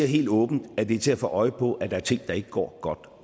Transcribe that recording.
helt åbent at det er til at få øje på at der er ting der ikke går godt